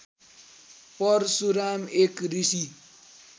परशुराम एक ऋषी